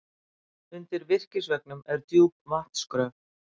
Undir virkisveggnum er djúp vatnsgröf.